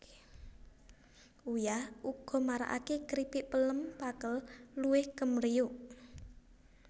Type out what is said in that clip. Uyah uga maragaké kripik pelem pakel luwih kempriyuk